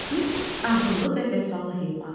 İt ağıllı və vəfalı heyvandır.